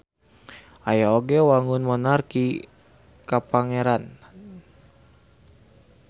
Aya oge wangun monarki kapangeranan.